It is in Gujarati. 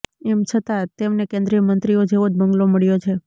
એમ છતાં તેમને કેન્દ્રીય મંત્રીઓ જેવો જ બંગલો મળ્યો છે